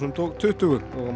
og tuttugu og